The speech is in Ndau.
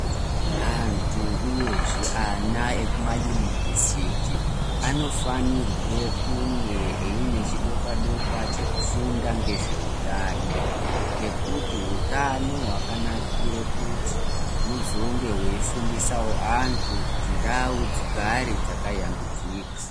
Antu uyezve ana ekumayunivhesiti anofanirwe kunge aine chidokwa dokwa chekufunda ngezveutano ngekuti hutano hwakanakire kuti unozonge weifundisawo antu kuti ndau dzigare dzakayambidzika.